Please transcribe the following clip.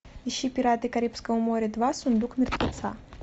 ищи пираты карибского моря два сундук мертвеца